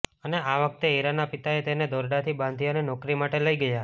અને આ વખતે હીરના પિતાએ તેને દોરડાથી બાંધી અને નોકરી માટે લઇ ગયા